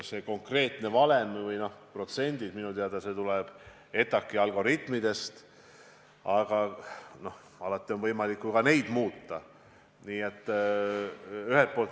See konkreetne valem või protsendid tulenevad minu teada ETAg-i algoritmidest, aga neid on ju ka alati võimalik muuta.